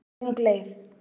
Löng leið